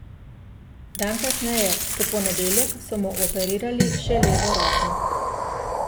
Dan kasneje, v ponedeljek, so mu operirali še levo roko.